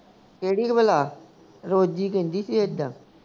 ਕਿਹੜੀ ਭਲਾ ਰੋਜੀ ਕਹਿੰਦੀ ਸੀ ਇੱਦਾਂ